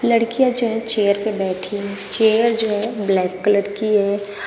लड़कियां जो चेयर पे बैठी है चेयर जो ब्लैक कलर की हैं।